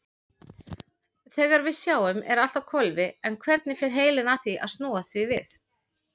Þegar við sjáum er allt á hvolfi en hvernig fer heilinn að snúa því við?